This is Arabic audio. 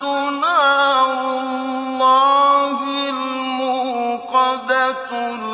نَارُ اللَّهِ الْمُوقَدَةُ